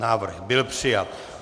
Návrh byl přijat.